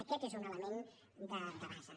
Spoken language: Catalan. aquest és un element de base